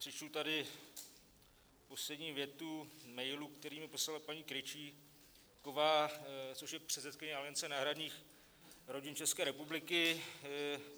Přečtu tady poslední větu mailu, který mi poslala paní Krejčíková, což je předsedkyně Aliance náhradních rodin České republiky.